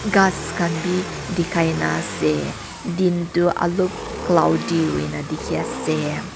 kas kan b dikai na ase din tu olob cloudy hoina diki ase.